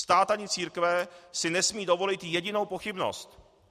Stát ani církve si nesmí dovolit jedinou pochybnost.